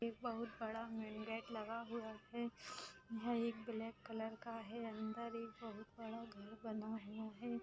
एक बहुत बड़ा मैन गेट लगा हुआ है यह एक ब्लैक कलर का है अंदर एक बहुत बड़ा घर बना हुआ है।